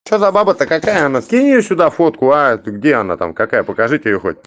что за баба так какая она скинь сюда фотку а ты где она там какая покажите её хоть